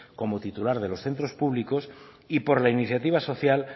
como titular de los centros públicos y por la iniciativa social